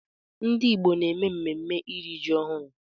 Ndị Igbo na-eme mmemme iri ji ọhụrụ.